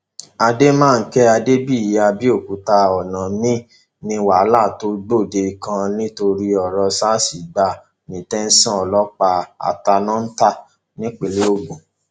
àdèmànkè adébíyí àbẹòkúta ọnà míín ní wàhálà tó gbòde kan nítorí ọrọ sars gbà ní tẹsán ọlọpàá àtànọtá nípínlẹ ogun